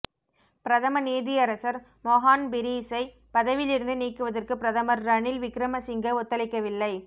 பிரதம நீதியரசர் மொஹான் பீரிஸை பதவியிலிருந்து நீக்குவதற்கு பிரதமர் ரணில் விக்ரமசிங்க ஒத்துழைக்கவில்லை